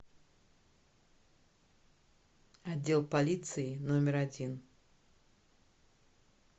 отдел полиции номер один